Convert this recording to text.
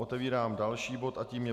Otevírám další bod a tím je